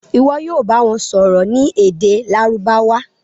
Ìwo yóò bá wón sòrò ní èdè Lárúbáwá.